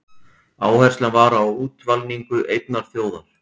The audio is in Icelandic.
Áherslan var á útvalningu einnar þjóðar.